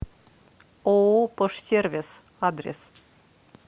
ооо пожсервис адрес